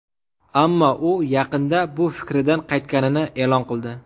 Ammo u yaqinda bu fikridan qaytganini e’lon qildi.